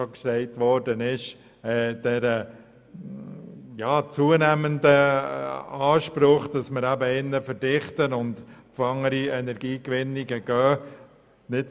Wie bereits erwähnt ist dem zunehmenden Anspruch Rechnung zu tragen, dass wir eher verdichtet bauen und auf andere Energiegewinnungen setzen.